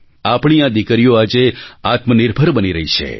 આપણી આ દીકરીઓ આજે આત્મનિર્ભર બની રહી છે